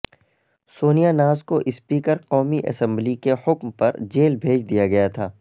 سونیا ناز کو سپیکر قومی اسمبلی کے حکم پر جیل بھیج دیا گیا تھا